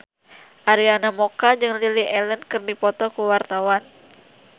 Arina Mocca jeung Lily Allen keur dipoto ku wartawan